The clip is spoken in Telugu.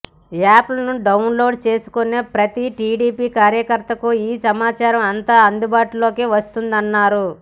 యాప్ను డౌన్లోడ్ చేసుకునే ప్రతి టీడీపీ కార్యకర్తకూ ఈ సమాచారం అంతా అందుబాటులోకి వస్తుందన్నారు